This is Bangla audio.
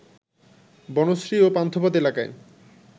বনশ্রী ও পান্থপথ এলাকায়